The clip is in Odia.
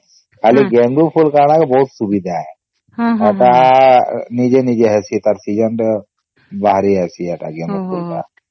ଖାଲି ଗେଂଡୁ ଫୁଲ କଣ କି ବହୁତ ସୁବିଧା ଆଉ ତାହା ନିଜେ ନିଜେ ହେଇସି ସେ ତାର season ଥି ବହିର ଜୈସେ ସେଟା ଗେଂଡୁ ଫୁଲ ଟା